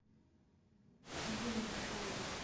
дима пашаев